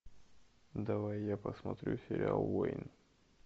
давай я посмотрю сериал воин